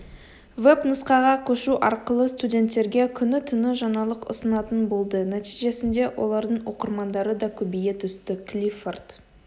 веб нұсқаға көшу арқылы студенттерге күні-түні жаңалық ұсынатын болды нәтижесінде олардың оқырмандары да көбейе түсті клиффорд